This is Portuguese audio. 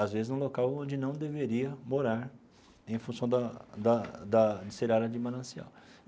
às vezes num local onde não deveria morar em função da da da de ser área de manancial.